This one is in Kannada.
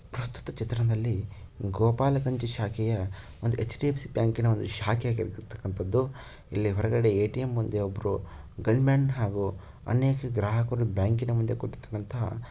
ಪ್ರಸ್ತುತ ಚಿತ್ರದಲ್ಲಿ ಗೋಪಾಲ ಗಂಜಿ ಶಾಖೆಯ ಒಂದು ಚ್ ಡಿ ಫ್ ಸಿ ಬ್ಯಾಂಕಿ ನ ಒಂದು ಶಾಖೆ ಆಗಿರತಕ್ಕಂತದ್ದುಇಲ್ಲಿ ಹೊರಗಡೆ ಎ.ಟಿ.ಎಂ ಮುಂದೆ ಒಬ್ರು ಗನ್ ಮ್ಯಾನ್ ಹಾಗೂ ಅನೇಕ ಗ್ರಾಹಕರು ಬ್ಯಾಂಕಿ ನ ಮುಂದೆ ಕುಂತಿರ್ತಕಂತಹ --